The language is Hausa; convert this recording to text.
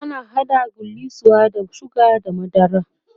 ana haɗa gullisuwa da sugar da madara